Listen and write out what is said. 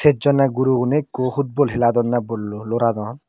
sejjone gurogune ekko football heladonne ballo loradon.